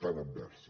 tan adversa